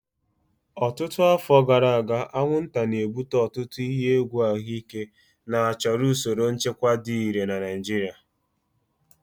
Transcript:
Ọtụtụ afọ gara aga, anwụnta na-ebute ọtụtụ ihe egwu ahụike na chọrọ usoro nchịkwa dị irè na Naijiria.